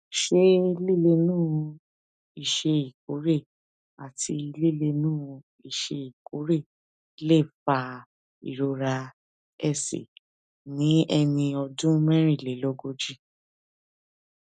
ṣé lílénu iṣé ìkórè àti lílénu iṣé ìkórè lè fa ìrora ẹsè ní ẹni ọdún mérìnlélógójì